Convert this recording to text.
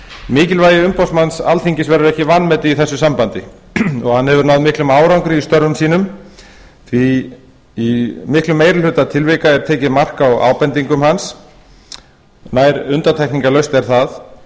mikilvægi umboðsmanns alþingis verður ekki vanmetið í þessu sambandi hann hefur náð miklum árangri í störfum sínum því í miklum meiri hluta tilvika er tekið mark á ábendingum hans nær undantekningarlaust er það